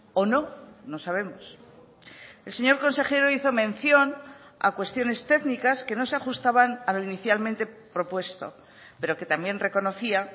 o no no sabemos el señor consejero hizo mención a cuestiones técnicas que no se ajustaban a lo inicialmente propuesto pero que también reconocía